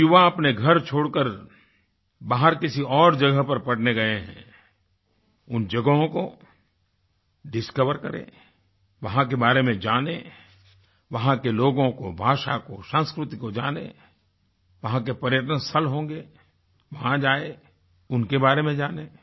जो युवा अपने घर छोड़कर बाहर किसी और जगह पर पढ़ने गए हैं उन जगहों को डिस्कवर करें वहाँ के बारे में जानें वहाँ के लोगों को भाषा को संस्कृति को जानें वहाँ के पर्यटन स्थल होंगे वहाँ जाएँ उनके बारे में जानें